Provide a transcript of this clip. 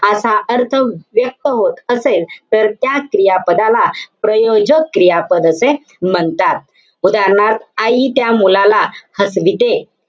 असा अर्थ व्यक्त होत असेल. तर त्या क्रियापदाला प्रयोजक क्रियापद असे म्हणतात. उदाहरणार्थ, आई त्या मुलाला हसविते.